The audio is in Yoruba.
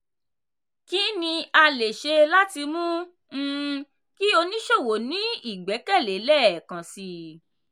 kí ni a lè ṣe láti mú um kí oníṣòwò ní ìgbẹ́kẹ̀lé lẹ́ẹ̀kansi?